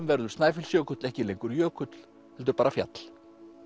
verður Snæfellsjökull ekki lengur jökull heldur bara fjall